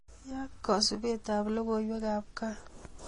Yaat kasubetab logoiwekab kaa